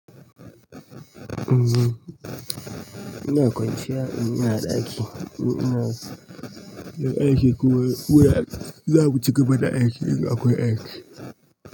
Umm, ina kwanciya in ina da aiki. Ina, ina aiki kuwa, kuwa za mu ci gaba da aiki in akwai aiki.